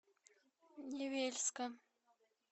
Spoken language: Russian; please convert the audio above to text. невельска